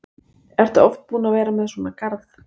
Ertu oft búin að vera með svona garð?